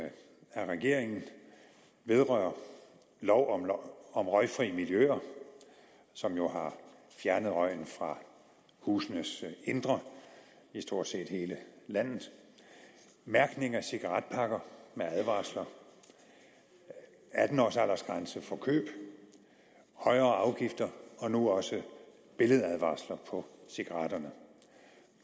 af regeringen vedrører lov om lov om røgfri miljøer som jo har fjernet røgen fra husenes indre i stort set hele landet mærkning af cigaretpakker med advarsler atten års aldersgrænse for køb højere afgifter og nu også billedadvarsler på cigaretpakkerne